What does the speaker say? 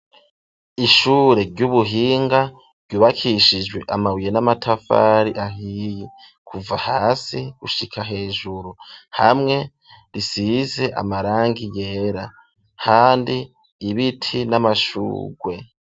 Ishure ry'ubuhinga ryubakishijwe amabuye n'amatafari ahiye kuva hasi gushika hejuru hamwe risize amarangi yera kandi ibiti n'amashugwe.